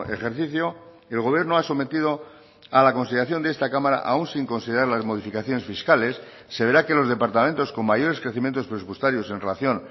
ejercicio el gobierno ha sometido a la consideración de esta cámara aún sin considerar las modificaciones fiscales se verá que los departamentos con mayores crecimientos presupuestarios en relación